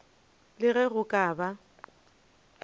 le ge go ka ba